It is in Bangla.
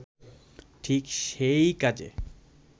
ঠিক সেই কাজে